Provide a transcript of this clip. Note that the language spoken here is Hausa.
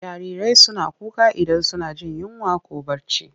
Jarirai suna kuka idan suna jin yinwa ko barci.